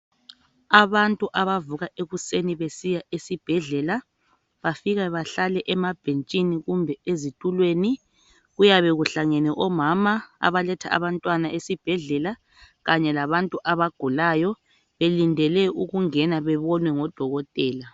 Abantu abavuka ekuseni besiya esibhedlela. Bafika bahlale emabhetshini kumbe ezitulweni. Kuyabe kuhlangene omama abaletha abantwana esibhedlela kanye abantu abagulayo. Belindele ukungena bebonwe ngodokotela.